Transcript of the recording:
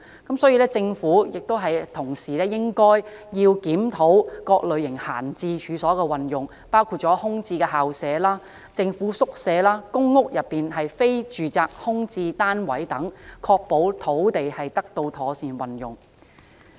同時，政府應檢討各類型閒置處所的運用，包括空置校舍、政府宿舍和公屋內非住宅空置單位等，確保土地資源得到妥善運用。